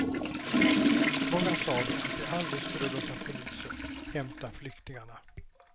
Många sa då att de aldrig skulle låta polisen hämta flyktingarna.